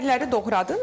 Biberləri doğradım.